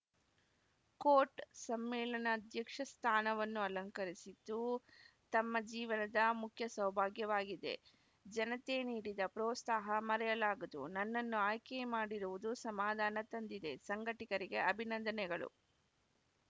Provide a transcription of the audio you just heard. coat ಸಮ್ಮೇಳನಧ್ಯಕ್ಷ ಸ್ಥಾನವನ್ನು ಅಲಂಕರಿಸಿದ್ದು ತಮ್ಮ ಜೀವನದ ಮುಖ್ಯ ಸೌಭಾಗ್ಯವಾಗಿದೆ ಜನತೆ ನೀಡಿದ ಪ್ರೋತ್ಸಾಹ ಮರೆಯಲಾಗದು ನನ್ನನ್ನು ಆಯ್ಕೆ ಮಾಡಿರುವುದು ಸಮಾಧನ ತಂದಿದೆ ಸಂಘಟಕರಿಗೆ ಅಭಿನಂದನೆಗಳು